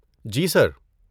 جی، سر۔